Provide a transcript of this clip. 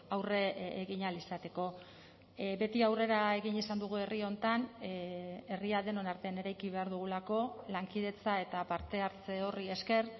aurre egin ahal izateko beti aurrera egin izan dugu herri honetan herria denon artean eraiki behar dugulako lankidetza eta parte hartze horri esker